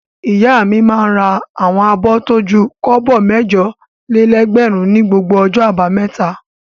Ìyá mi máa ń ra àwọn abọ́ tó ju kọ́bọ̀ mẹ́jọ-lé-ẹgbẹ̀rún ní gbogbo ọjọ́ àbámẹ́ta.